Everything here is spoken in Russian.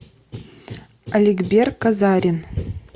аликбер казарин